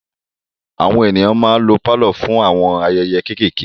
Àwọn ènìyàn ma ń lo pálọ̀ fún àwọn ayẹyẹ kéékéèké.